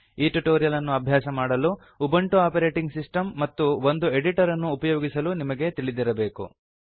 ಈ ಟ್ಯುಟೋರಿಯಲ್ ಅನ್ನು ಅಭ್ಯಾಸ ಮಾಡಲು ಉಬುಂಟು ಆಪರೇಟಿಂಗ್ ಸಿಸ್ಟಮ್ ಮತ್ತು ಒಂದು ಎಡಿಟರ್ ಅನ್ನು ಉಪಯೊಗಿಸಲು ನಿಮಗೆ ತಿಳಿದಿರಬೇಕು